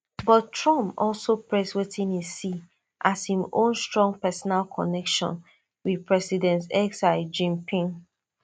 but trump also praise wetin e see as im own strong personal connection wit president xi jinping